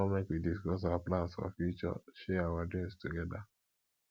i wan make we discuss our plans for future share our dreams togeda